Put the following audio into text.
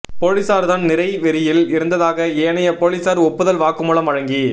போலீசார்தான் நிறை வெறியில் இருந்ததாக ஏனைய போலீசார் ஒப்புதல் வாக்குமூலம் வழங்கி